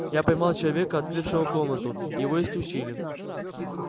я поймал человека открывшего комнату и его исключили